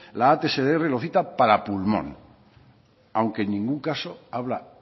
la atsdr lo cita para pulmón aunque en ningún caso habla